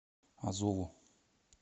азову